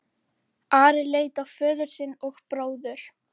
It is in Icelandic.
Ari leit á föður sinn og bróður.